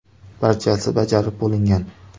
Barchasi bajarib bo‘lingan.